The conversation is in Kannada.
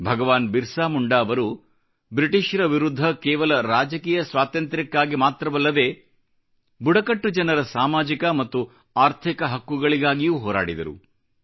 ಭಗವಾನ್ ಬಿರ್ಸಾ ಮುಂಡಾ ಅವರು ಬ್ರಿಟಿಷ್ರ ವಿರುದ್ಧ ಕೇವಲ ರಾಜಕೀಯ ಸ್ವಾತಂತ್ರ್ಯಕ್ಕಾಗಿ ಮಾತ್ರವಲ್ಲದೆ ಬುಡಕಟ್ಟು ಜನರ ಸಾಮಾಜಿಕ ಮತ್ತು ಆರ್ಥಿಕ ಹಕ್ಕುಗಳಿಗಾಗಿಯೂ ಹೋರಾಡಿದರು